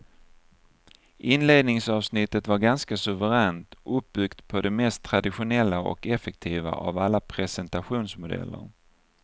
Inledningsavsnittet var ganska suveränt, uppbyggt på det mest traditionella och effektiva av alla presentationsmodeller.